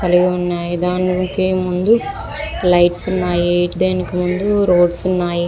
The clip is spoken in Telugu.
లైట్స్ ఉన్నాయి రోడ్స్ ఉన్నాయి.